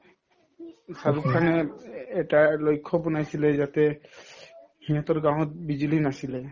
শ্বাহৰুখ খানে এট এটা লক্ষ্য বনাইছিলে যাতে সিহঁতৰ গাঁৱত বিজুলী নাছিলে